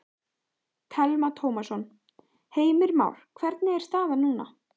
Telma Tómasson: Heimir Már, hvernig er staðan núna?